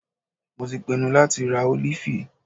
Mo tí pinnu láti rá ólífì.